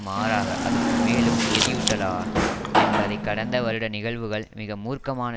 மாறாக அதற்கு மேலும் எரியூட்டலாம் என்பதை கடந்த வருட நிகழ்வுகள் மிக மூர்க்கமான